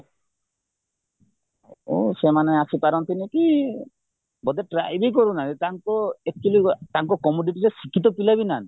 ତେଣୁ ସେମାନେ ଆସିପାରନ୍ତିନି କି ବୋଧେ try ବି କରୁନାହାନ୍ତି ତାଙ୍କୁ actually ତାଙ୍କୁ commodity ଶିକ୍ଷିତ ପିଲା ବି ନାହାନ୍ତି